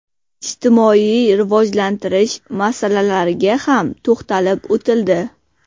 Ijtimoiy rivojlantirish masalalariga ham to‘xtalib o‘tildi.